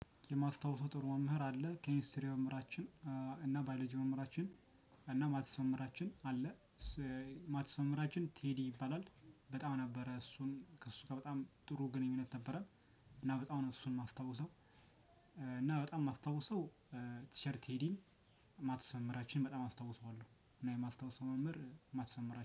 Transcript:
የማስታውሰው ጥሩ መምህር አለ ኬሚስትሪ መምህራችን እና ባይሎጂ መምህራችን እና ማትስ መምህራችን አለ እሱ ማትስ መምህራችን ቴዲ ይባላል። በጣም ነበረ እሱን ከሱ ጋር በጣም ጥሩ ግኑኝነት ነበረን። እና በጣም ነው እሱን ማስታውሰው። እና በጣም ማስታውሰው ቲቸር ቴዲን ማትስ መምህራችን በጣም አስታውሱዋለው። እና የማስታውሰው መምህር ማትስ መምህራችን